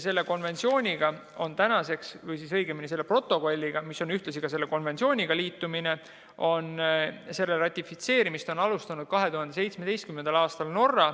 Selle konventsiooni, õigemini, selle protokolli, mis tähendab ühtlasi selle konventsiooniga liitumist, ratifitseerimist alustas 2017. aastal Norra.